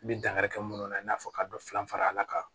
N bi dankari kɛ munnu na i n'a fɔ ka dɔ filan a kan